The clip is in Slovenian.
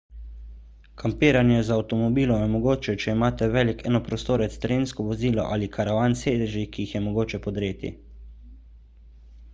kampiranje z avtomobilom je mogoče če imate velik enoprostorec terensko vozilo ali karavan s sedeži ki jih je mogoče podreti